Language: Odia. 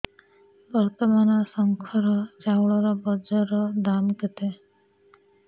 ବର୍ତ୍ତମାନ ଶଙ୍କର ଚାଉଳର ବଜାର ଦାମ୍ କେତେ